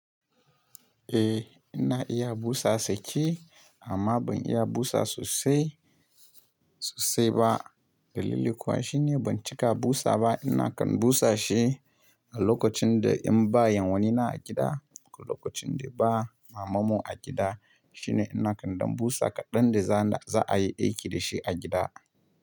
Eh ina iya busa saki amma ban iya busa sosai sosai ba. Dalili kuwa shine ban cika busa ba. Ina kan busa shi a lokacin da in ba yanwani na a gida ko lokacin da ba mamanmu a gida. Shine ina kan don busa kaɗan da za a yi aiki da shi a gida.